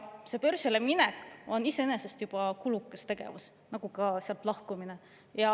Börsile minek on iseenesest juba kulukas tegevus nagu ka sealt lahkumine.